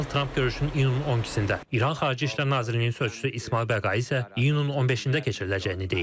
Donald Tramp görüşün iyunun 12-də, İran xarici İşlər Nazirliyinin sözçüsü İsmayıl Bəqai isə iyunun 15-də keçiriləcəyini deyib.